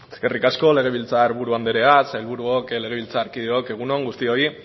eskerrik asko legebiltzar buru andrea sailburuok legebiltzarkideok egun on guztioi